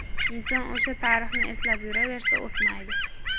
Inson o‘sha tarixni eslab yuraversa, o‘smaydi.